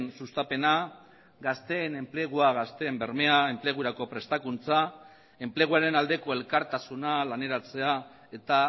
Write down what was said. sustapena gazteen enplegua gazteen bermea enplegurako prestakuntza enpleguaren aldeko elkartasuna laneratzea eta